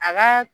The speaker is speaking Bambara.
A ka